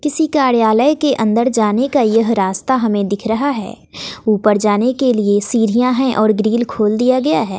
किसी कार्यालय के अंदर जाने का यह रास्ता हमें दिख रहा है ऊपर जाने के लिए सीढ़ियां है और ग्रील खोल दिया गया है।